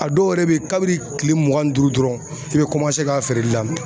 A dɔw yɛrɛ bɛ ye kabini kile mugan ni duuru dɔrɔn i bɛ kɔmanse ka feereli